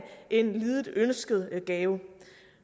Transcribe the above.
en lidet ønsket gave